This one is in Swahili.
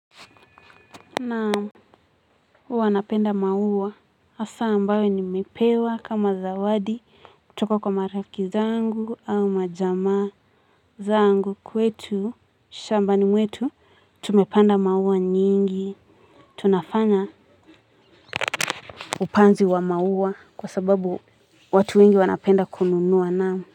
Naamu, huwa napenda maua, hasa ambayo nimepewa kama zawadi, kutoka kwa marafiki zangu au majama zangu kwetu, shambani mwetu, tumepanda maua nyingi, tunafanya upanzi wa maua kwa sababu watu wengi wanapenda kununua naamu.